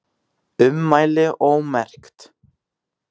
Ummæli ómerkt